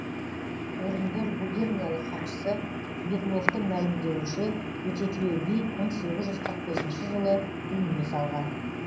орынбор губерниялық хатшысы бегловтың мәлімдеуінше өтетілеу би мың сегіз жүз қырық бесінші жылы дүние салған